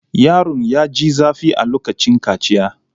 Yaron ya ji zafi a lokacin kaciya.